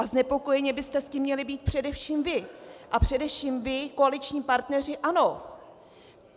A znepokojeni byste s tím měli být především vy a především vy, koaliční partneři ANO.